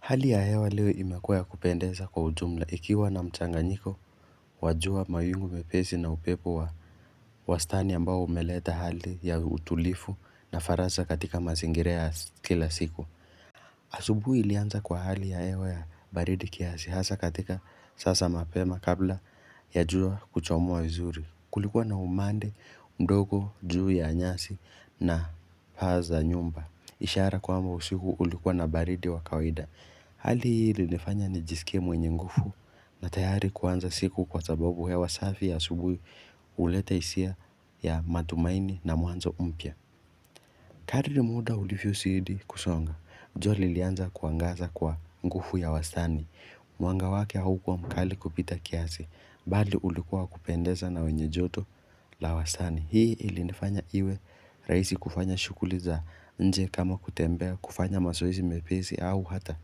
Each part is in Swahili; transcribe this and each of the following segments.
Hali ya hewa leo imekuwa ya kupendeza kwa ujumla. Ikiwa na mchanganyiko, wa jua mayungu mepesi na upepo wa wastani ambao umeleta hali ya utulifu na farasa katika masingira ya kila siku. Asubui ilianza kwa hali ya hewa ya baridi kiasi. Hasa katika sasa mapema kabla ya jua kuchomua vizuri. Kulikuwa na umande, mdogo, juu ya nyasi na paa za nyumba. Ishara kwamba usiku ulikuwa na baridi wa kawaida. Hali hii ilinifanya nijisikie mwenye ngufu na tayari kuanza siku kwa sababu hewa safi ya asubuhi uleta isia ya matumaini na mwanzo mpya. Kadri muda ulifyosidi kusonga, jua lilianza kuangaza kwa ngufu ya wastani. Mwanga wake haukuwa mkali kupita kiasi, bali ulikuwa wa kupendeza na wenye joto la wastani. Hii ilinifanya iwe raisi kufanya shughuli za nje kama kutembea kufanya masoezi mepesi au hata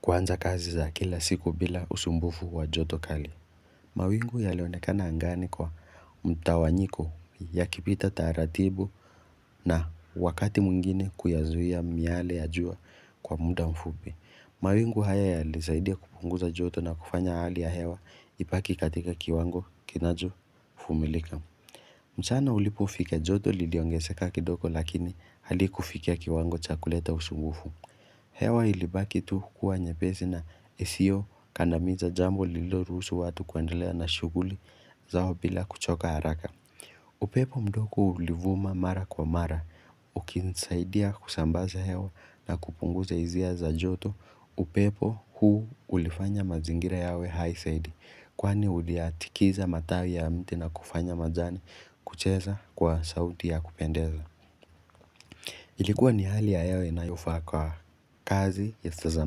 kuanza kazi za kila siku bila usumbufu wa joto kali. Mawingu yalionekana angani kwa mtawanyiko ya kipita taratibu na wakati mwingine kuyazuia miyale ya jua kwa muda mfupi. Mawingu haya yalisaidia kupunguza joto na kufanya hali ya hewa ipaki katika kiwango kinacho fumilika. Mchana ulipofika joto liliongeseka kidoko lakini halikufikia kiwango cha kuleta usumbufu. Hewa ilibaki tu kukua nyepesi na isiyokandamiza jambo liloruhusu watu kuendelea na shuguli zao bila kuchoka haraka. Upepo mdoko ulivuma mara kwa mara. Ukinsaidia kusambaza hewa na kupunguza izia za joto. Upepo huu ulifanya mazingira yawe hai saidi. Kwani uliatikiza matawi ya mti na kufanya majani kucheza kwa sauti ya kupendeza. Ilikuwa ni hali ya hewa inayofaa kwa kazi za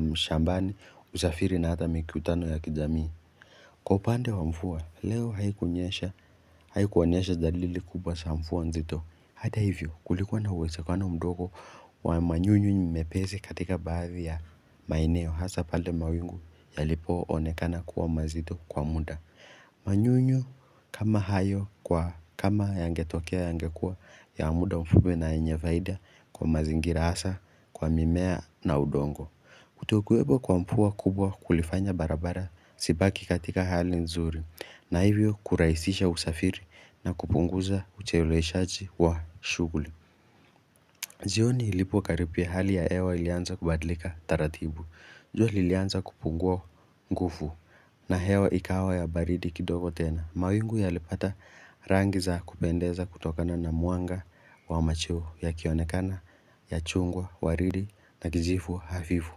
mshambani usafiri na hata mikutano ya kijamii. Kwa upande wa mfua, leo haikunyesha haikuonyesha dalili kubwa sa mfuwa nzito. Hata hivyo, kulikuwa na uwezekano mdogo wa manyunyu mepesi katika baadhi ya maeneo hasa pale mawingu yalipoonekana kuwa mazito kwa muda. Manyunyu kama hayo kama yangetokea yangekua ya muda mfupi na yenye vaida kwa mazingira hasa kwa mimea na udongo Kutokwepo kwa mfua kubwa kulifanya barabara sipaki katika hali nzuri na hivyo kuraisisha usafiri na kupunguza ucheleweshaji wa shuguli jioni ilipokaripia hali ya hewa ilianza kubadilika taratibu. Jua lilianza kupungua ngufu na hewa ikawa ya baridi kidogo tena. Mawingu yalipata rangi za kupendeza kutokana na mwanga wa macheu yakionekana ya chungwa, waridi na kijifu hafifu.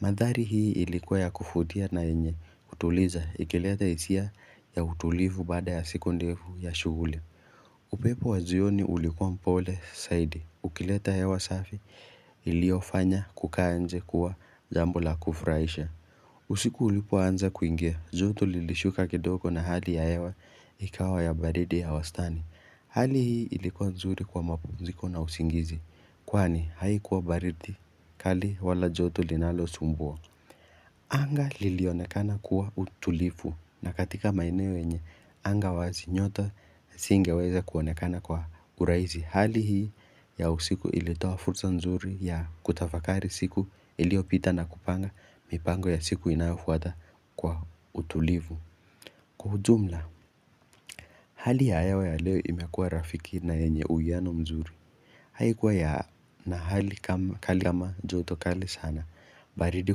Mandhari hii ilikuwa ya kufutia na yenye, utuliza, ikileta isia ya utulivu baada ya siku ndefu ya shuguli. Upepo wa jioni ulikuwa mpole, saidi, ukileta hewa safi, iliofanya kukaa nje kuwa jambo la kufuraisha. Usiku ulipoanza kuingia, joto lilishuka kidogo na hali ya hewa ikawa ya baridi ya wastani. Hali hii ilikuwa nzuri kwa mapumziko na usingizi, kwani haikuwa baridi kali wala joto linalosumbua. Anga lilionekana kuwa utulifu na katika maeneo yenye, anga wazi nyota isingeweza kuonekana kwa uraizi. Hali hii ya usiku ilitoa fursa nzuri ya kutafakari siku iliopita na kupanga mipango ya siku inayafuata kwa utulivu. Kwa ujumla, hali ya hewa ya leo imekua rafiki na yenye uwiano mzuri Haikuwa yana hali kama joto kali sana baridi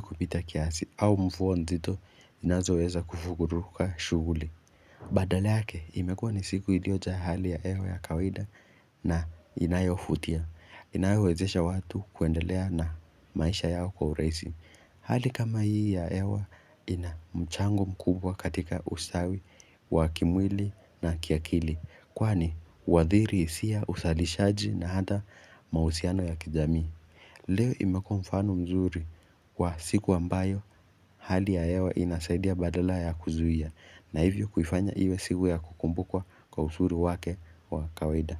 kupita kiasi au mfua nzito inazoweza kufuguruka shuguli Badala yake, imekua ni siku iliojaa hali ya ewa ya kawaida na inayofutia inayowezesha watu kuendelea na maisha yao kwa urahisi Hali kama hii ya ewa ina mchango mkubwa katika ustawi wa kimwili na kiakili Kwani huadhiri isia usalishaji na hata mahusiano ya kijamii Leo imekuwa mfano mzuri wa siku ambayo hali ya ewa inasaidia badala ya kuzuhia na hivyo kufanya iwe siku ya kukumbukwa kwa usuru wake wa kawaida.